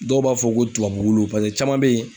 Dɔw b'a fɔ ko tubabu caman bɛ yen